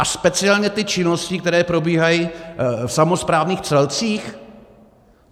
A speciálně ty činnosti, které probíhají v samosprávných celcích?